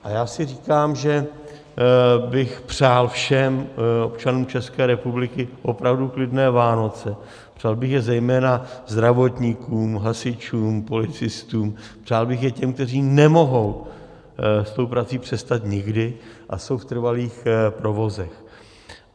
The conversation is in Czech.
A já si říkám, že bych přál všem občanům České republiky opravdu klidné Vánoce, přál bych je zejména zdravotníkům, hasičům, policistům, přál bych je těm, kteří nemohou s tou prací přestat nikdy a jsou v trvalých provozech.